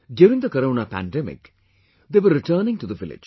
During the Corona pandemic, they were returning to the village